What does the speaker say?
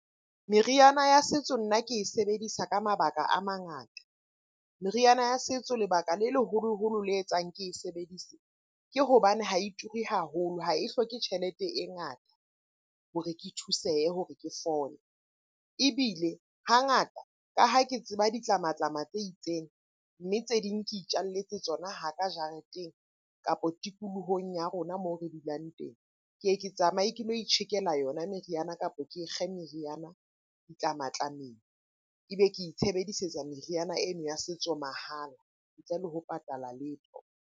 Meriana ya setso nna ke e sebedisa ka mabaka a mangata. Meriana ya setso lebaka le leholoholo le etsang ke e sebedise, ke hobane ha e turi haholo, ha e hloke tjhelete e ngata hore ke thusehe hore ke fole. Ebile hangata ka ha ke tseba ditlamatlama tse itseng, mme tse ding ke itjalletse tsona haka jareteng? kapo tikolohong ya rona moo re dulang teng. Ke ye ke tsamaye ke lo itjhekela yona meriana, kapo ke kge meriana ditlamatlameng. E be ke itshebedisetsa meriana eno ya setso mahala ntle le ho patala letho.